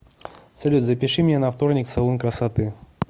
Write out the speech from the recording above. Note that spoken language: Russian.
салют запиши меня на вторник в салон красоты